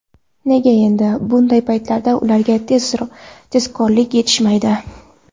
Nega endi bunday paytlarda ularga tezkorlik yetishmaydi”.